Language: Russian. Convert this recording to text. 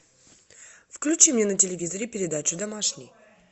включи мне на телевизоре передачу домашний